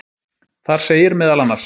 Þar segir meðal annars: